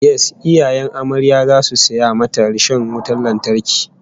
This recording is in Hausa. Yes, iyayen amaryar zasu saya mata rishon wutan lantarki